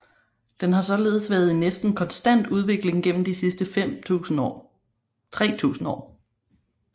Den har således været i næsten konstant udvikling gennem de sidste 3000 år